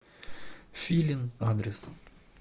филин адрес